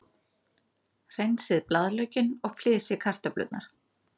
Hreinsið blaðlaukinn og flysjið kartöflurnar.